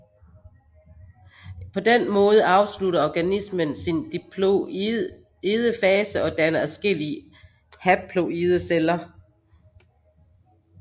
På den måde afslutter organismen sin diploide fase og danner adskillige haploide celler